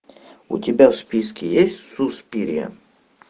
у тебя в списке есть суспирия